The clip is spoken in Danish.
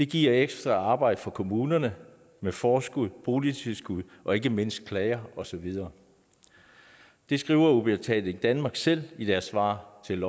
giver det ekstra arbejde for kommunerne med forskud boligtilskud og ikke mindst klager og så videre det skriver udbetaling danmark selv i deres svar til